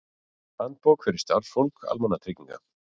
Handbók fyrir starfsfólk almannatrygginga.